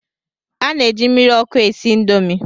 A na-eji mmiri ọkụ esi Indomi